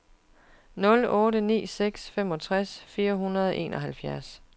nul otte ni seks femogtres fire hundrede og enoghalvfjerds